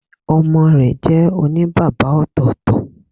Ọmọ rẹ jẹ́ òní bàbá ọ̀tọ̀ọ̀tọ̀